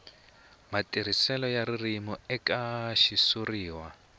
matirhiselo ya ririmi eka xitshuriwa